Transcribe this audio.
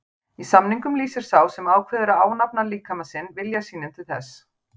Í samningnum lýsir sá sem ákveður að ánafna líkama sinn vilja sínum til þess.